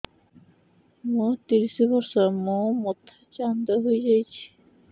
ମୋ ତିରିଶ ବର୍ଷ ମୋ ମୋଥା ଚାନ୍ଦା ହଇଯାଇଛି